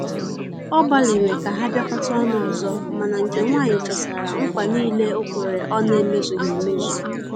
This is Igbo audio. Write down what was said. Ọ gbaliri ka ha biakota ọnụ ọzọ, mana nke nwanyi chetara nKwa nile okwere ọ na eme zughi emezụ